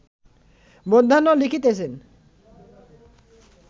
মধ্যাহ্ন লিখিতেছেন